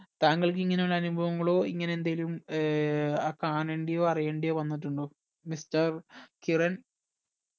താങ്കൾക് ഇങ്ങനെയുള്ള അനുഭവങ്ങളോ ഇങ്ങനെ എന്തേലും ഏർ കാണാണ്ടയോ അറിയണ്ടയോ വന്നിട്ടുണ്ടോ mister കിരൺ